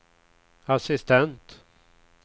assistent